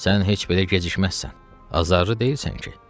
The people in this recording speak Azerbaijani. Sən heç belə gecikməzsən, azarlı deyilsən ki?